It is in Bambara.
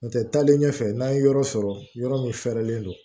N'o tɛ taalen ɲɛfɛ n'an ye yɔrɔ sɔrɔ yɔrɔ min fɛɛrɛlen don